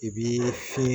I bi fiɲɛ